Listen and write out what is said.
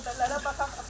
Xəbərlərə baxaq.